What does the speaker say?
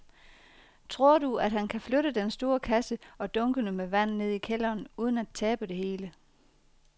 Tror du, at han kan flytte den store kasse og dunkene med vand ned i kælderen uden at tabe det hele?